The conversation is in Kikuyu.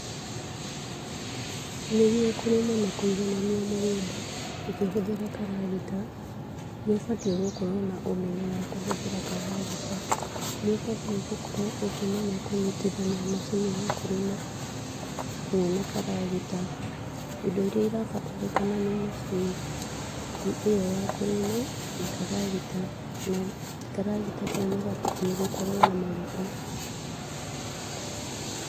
Nĩguo kũrĩma kũiganania mũgũnda ũkĩhũthĩra karagita, nĩ ũbatiĩ gũkorwo na ũmenyo wa kũhũthĩra karagita, nĩ ũbatiĩ gũkorwo ũkĩmenya kũnyitithania macini ya kũrĩma hamwe na karagita, indo irĩa irabataranĩka nĩ macini ĩyo ya kũrĩma na karagita, na karagita kau nĩgabatiĩ gũkorwo na maguta.